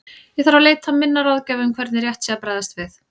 Ég þarf að leita til minna ráðgjafa um hvernig rétt sé að bregðast við.